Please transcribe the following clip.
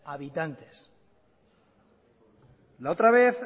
habitantes la otra vez